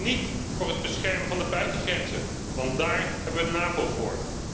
Niet voor het beschermen van de buitengrenzen, want daar hebben we de NAVO voor.